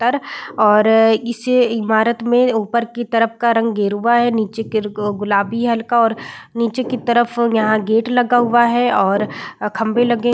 तर और इस ईमारत में ऊपर की तरफ का रंग गेरुवा है | नीचे गिर-ग-अ गुलाबी है हलका और नीचे की तरफ यहां गेट लगा हुआ है और खम्बे लगे --